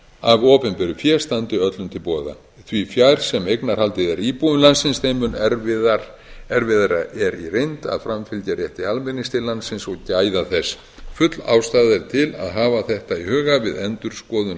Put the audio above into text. af opinberu fé standi öllum til boða því fjær sem eignarhaldið er íbúum landsins þeim mun erfiðara er í reynd að framfylgja rétti almennings til landsins og gæða þess full ástæða er til að hafa þetta í huga við endurskoðun